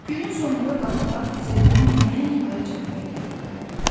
Günün sonunda qadınlar xizəklə nəhəng ayı cəmdəyi gətirdilər.